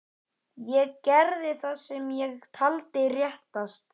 Ég gerði það sem ég taldi réttast.